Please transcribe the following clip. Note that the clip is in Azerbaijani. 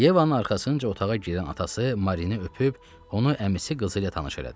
Yevanın arxasınca otağa girən atası Marini öpüb, onu əmisi qızı ilə tanış elədi.